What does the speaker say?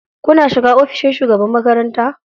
Kuna shiga ofishin shugaban makaranta?